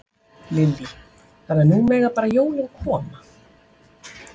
Lillý: Þannig að nú mega bara jólin koma?